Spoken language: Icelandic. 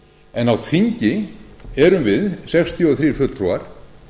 en á þingi erum við sextíu og þrír fulltrúar